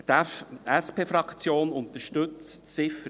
Die SP-JUSOPSA-Fraktion unterstützt die Ziffer